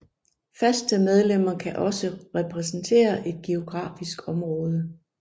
Faste medlemmer kan også repræsentere et geografisk område